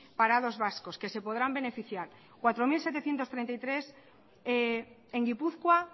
parados vascos que se pondrán beneficiar cuatro mil setecientos treinta y tres en gipuzkoa